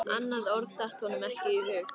Annað orð datt honum ekki í hug.